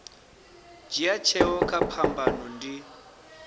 dzhia tsheo kha phambano ndi